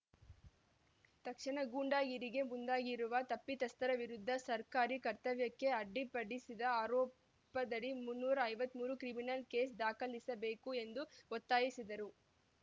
ತಕ್ಷಣ ಗೂಂಡಾಗಿರಿಗೆ ಮುಂದಾಗಿರುವ ತಪ್ಪಿತಸ್ತರ ವಿರುದ್ದ ಸರ್ಕಾರಿ ಕರ್ತವ್ಯಕ್ಕೆ ಅಡ್ಡಿಪಡಿಸಿದ ಆರೋಪದಡಿ ಮುನ್ನೂರ ಐವತ್ತ್ ಮೂರು ಕ್ರಿಮಿನಲ್‌ ಕೇಸ್‌ ದಾಖಲಿಸಬೇಕು ಎಂದು ಒತ್ತಾಯಿಸಿದರು